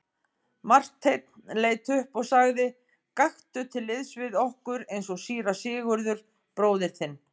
Marteinn leit upp og sagði:-Gakktu til liðs við okkur eins og síra Sigurður bróðir þinn.